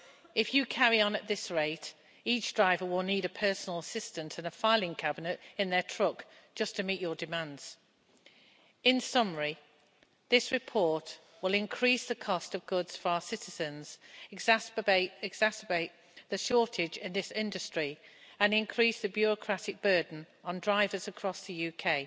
If you carry on at this rate, each driver will need a personal assistant and a filing cabinet in their truck just to meet your demands. In summary, this report will increase the cost of goods for our citizens, exacerbate the shortage in this industry and increase the bureaucratic burden on drivers across the UK.